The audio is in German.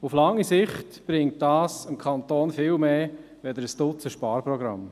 Auf lange Sicht bringt dies dem Kanton viel mehr als ein Dutzend Sparprogramme.